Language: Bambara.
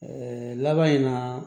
laban in na